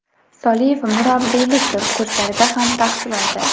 Soliyev murabbiylik kurslarida ham tahsil oldi.